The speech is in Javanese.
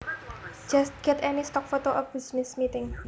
Just get any stock photo of a business meeting